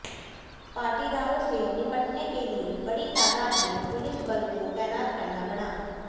पाटीदारों से निपटने के लिए बड़ी तादाद में पुलिस बल को तैनात करना पड़ा